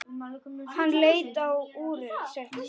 Hann leit á úrið sitt.